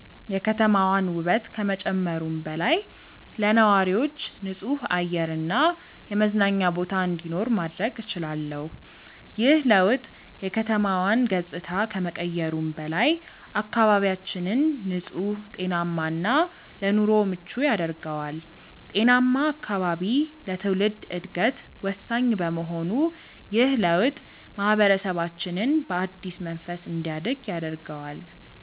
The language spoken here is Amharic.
የከተማዋን ውበት ከመጨመሩም በላይ፣ ለነዋሪዎች ንጹህ አየር እና የመዝናኛ ቦታ እንዲኖር ማድረግ እችላለሁ። ይህ ለውጥ የከተማዋን ገጽታ ከመቀየሩም በላይ፣ አካባቢያችንን ንጹህ፣ ጤናማ እና ለኑሮ ምቹ ያደርገዋል። ጤናማ አካባቢ ለትውልድ ዕድገት ወሳኝ በመሆኑ ይህ ለውጥ ማህበረሰባችንን በአዲስ መንፈስ እንዲያድግ ያደርገዋል።